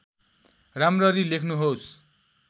राम्ररी लेख्नुहोस्